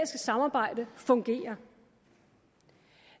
samarbejde fungerer